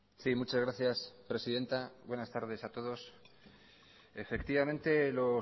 sí muchas gracias presidenta buenas tardes a todos efectivamente lo